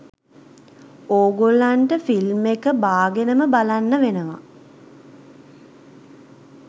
ඕගොල්ලන්ට ෆිල්ම් එක බාගෙනම බලන්න වෙනව